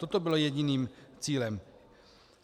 Toto bylo jediným cílem.